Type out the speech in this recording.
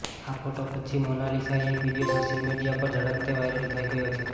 આ ફોટો પછી મોનાલિસાએ એક વીડિયો સોશિયલ મીટિયા પર ઝડપથે વાયરલ થઈ ગયો છે